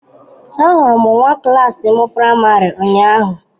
Ahụrụ m nwa klas m praịmarị ụnyahụ.